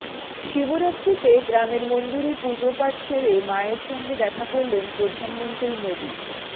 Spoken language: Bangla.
শিবরাত্রিতে গ্রামের মন্দিরে পুজোপাঠ সেরে মায়ের সঙ্গে দেখা করলেন প্রধানমন্ত্রী মোদী